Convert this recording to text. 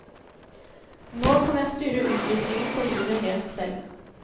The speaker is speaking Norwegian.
Nå kan jeg styre utviklingen på livet helt selv.